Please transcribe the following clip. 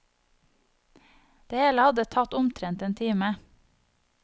Det hele hadde tatt omtrent én time.